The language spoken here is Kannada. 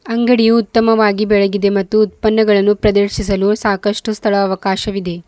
ಅಂಗಡಿ ಉತ್ತಮವಾಗಿ ಬೆಳಗಿದೆ ಮತ್ತು ಉತ್ಪನ್ನಗಳನ್ನು ಪ್ರದರ್ಶಿಸಲು ಸಾಕಷ್ಟು ಸ್ಥಳ ಅವಕಾಶವಿದೆ.